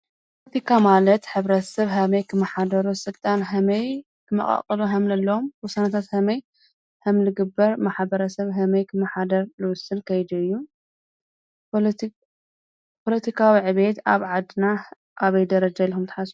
ፖለቲካ ማለት ሕብረተሰብ ሀመይ ክመሓደሩ፣ ስልጣን ሀመይ ክመቓቐሉ ከምዘለዎም፣ ውሳነታት ሀመይ ከምዝግበር፣ ማሕበረሰብ ሀመይ ከምዝመሓደር ልውስን ከይዲ እዩ፡፡ ፖለቲካዊ ዕብየት ኣብ ዓድና ኣበይ ደረጃ ኣሎ ኢልኩም ትሓስቡ?